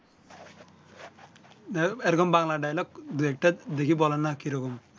এ রকম বাংলা dialogue দুই একটা দেখি বলেন না কি রকম